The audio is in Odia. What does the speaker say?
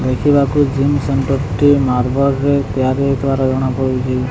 ଦେଖିବାକୁ ଜେନ୍ ମାର୍ବୋଲ୍ ରେ ତିଆରି ହେଇଥିବାର ଜଣା ପଡୁଚି ।